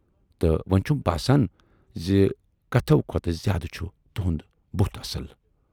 تہٕ وۅنۍ چھُم باسان زِ کتھوٕ کھۅتہٕ زیادٕ چھُ تُہُند بُتھ اصل۔